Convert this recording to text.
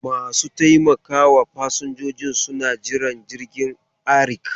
Masu taimakawa fasinjojin suna Jiran jirgin ARIK.